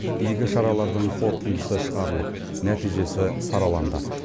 игі шаралардың қорытындысы шығарылып нәтижесі сараланды